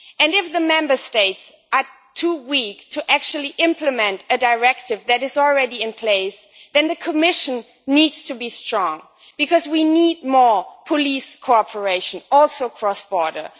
If the Member States are too weak to actually implement a Directive that is already in place, then the Commission needs to be strong because we need more police cooperation, including across borders.